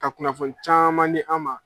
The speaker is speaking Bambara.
Ka kunnafoni caman di an ma.